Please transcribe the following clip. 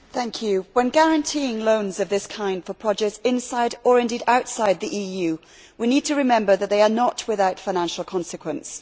Mr President, when guaranteeing loans of this kind for projects inside or, indeed, outside the EU, we need to remember that they are not without financial consequences.